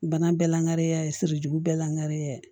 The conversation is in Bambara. Bana bɛɛ lankare ya ye sirijugu bɛɛ lankare